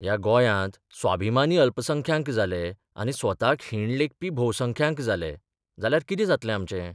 ह्या गोंयांत स्वाभिमानी अल्पसंख्यांक जाले आनी स्वताक हीण लेखपी भोवसंख्यांक जाले जाल्यार कितें जातलें आमचें?